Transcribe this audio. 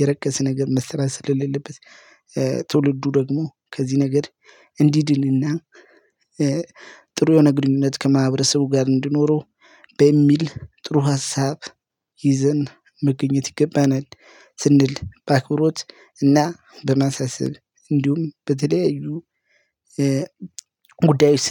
የረከሰ ነገር መስራት ስለሌለበት ትውልዱ ደግሞ ከዚህ ነገር እንዲ ድንና ጥሩ የሆነ ግንኙነት ከማህበረሰቡ ጋር እንዲኖረው በሚል ጥሩ ሀሳብ ይዘን መገኘት ይገባናል። ስንል በአክብሮት እና በመሳሰብ እንዲሁም በተለያዩ ጉዳዮች